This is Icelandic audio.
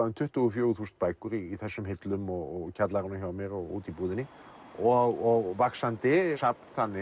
um tuttugu og fjögur þúsund bækur í þessum hillum og kjallaranum hjá mér og úti í búðinni og vaxandi safn þannig